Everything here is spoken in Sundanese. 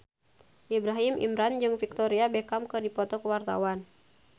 Ibrahim Imran jeung Victoria Beckham keur dipoto ku wartawan